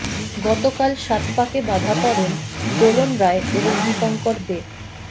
গতকাল সাত পাকে বাঁধা পড়েন দোলন রায় এবং দীপঙ্কর দে